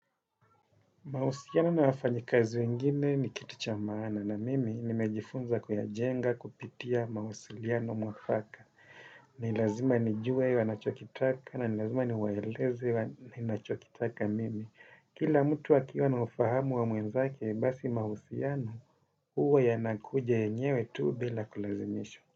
Mahusiano na wafanyikazi wengine ni kitu cha maana na mimi nimejifunza kuyajenga kupitia mawasiliano mwafaka. Nilazima nijue wanachokitaka na ni lazima niwaeleze ninachokitaka mimi. Kila mtu akiwa na ufahamu wa mwenzake basi mahusianao huwa yanakuja yenyewe tu bila kulazimisha.